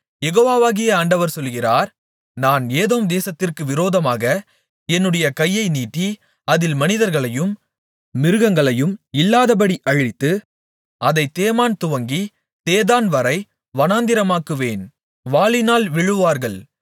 யெகோவாகிய ஆண்டவர் சொல்லுகிறார் நான் ஏதோம் தேசத்திற்கு விரோதமாக என்னுடைய கையை நீட்டி அதில் மனிதர்களையும் மிருகங்களையும் இல்லாதபடி அழித்து அதைத் தேமான் துவங்கித் தேதான்வரை வனாந்திரமாக்குவேன் வாளினால் விழுவார்கள்